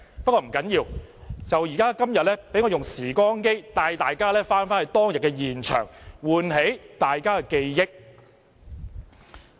不要緊，今天就讓我用"時光機"帶大家回到當天現場，喚起大家的記憶。